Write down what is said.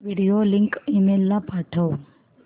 video link email ला पाठव